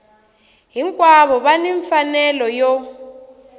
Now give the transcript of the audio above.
hinkwavo va ni mfanelo yo